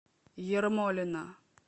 ермолино